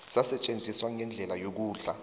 sasetjenziswa ngendlela yokudla